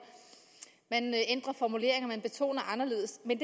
man ændrer formuleringer man betoner anderledes men